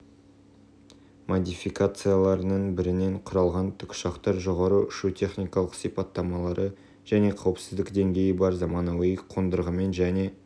модификацияларының бірінен құралған тікұшақтың жоғары ұшу техникалық сипаттамалары және қауіпсіздік деңгейі бар заманауи қондырғымен және